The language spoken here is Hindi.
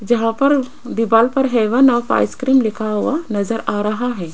जहां पर दीवाल पर हैवन ऑफ आइसक्रीम लिखा हुआ नजर आ रहा है।